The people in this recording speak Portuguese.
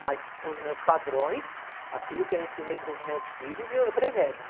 Mas os meus padrões, aquilo que eu ensinei para os meus filhos, eu preservo.